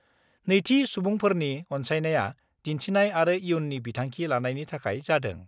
नैथि सुबुंफोरनि अन्सायनाया दिन्थिनाय आरो इयुननि बिथांखि लानायनि थाखाय जादों।